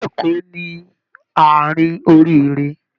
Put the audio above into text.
Ilú Eko ni àárin oríire.